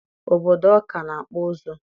Obodo Ọka na-akpụ ụzụ.